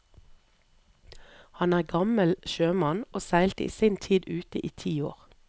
Han er gammel sjømann, og seilte i sin tid ute i ti år.